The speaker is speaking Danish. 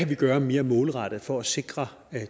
kan gøre mere målrettet for at sikre